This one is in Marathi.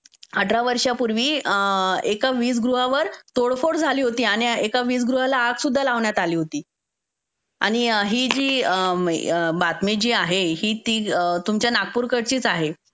अठरा वर्षांपूर्वी एका वीज गृहावर तोडफोड झाली होती आणि एका वीज गृहाला आग सुद्धा लावण्यात आली होती. आणि ही जी बातमी जी आहे ती तुमच्या नागपूरकडचीच आहे.